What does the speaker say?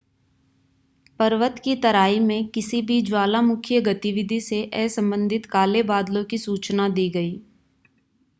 पर्वत की तराई में किसी भी ज्वालामुखीय गतिविधि से असंबंधित काले बादलों की सूचना दी गई